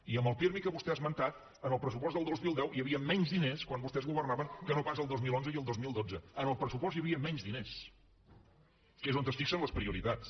i en el pirmi que vostè ha esmentat en el pressupost del dos mil deu hi havia menys diners quan vostès governaven que no pas el dos mil onze i el dos mil dotze en el pressupost hi havien menys diners que és on es fixen les prioritats